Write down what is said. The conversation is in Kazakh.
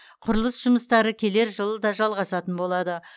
құрылыс жұмыстары келер жылы да жалғасатын болады